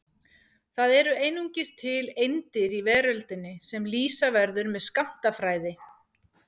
Það eru einungis til eindir í veröldinni sem lýsa verður með skammtafræði.